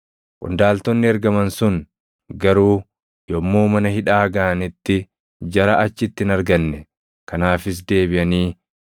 Qondaaltonni ergaman sun garuu yommuu mana hidhaa gaʼanitti jara achitti hin arganne; kanaafis deebiʼanii,